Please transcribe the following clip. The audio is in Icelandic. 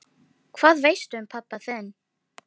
Hvað veistu um pabba þinn?